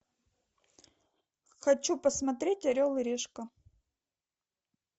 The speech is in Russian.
хочу посмотреть орел и решка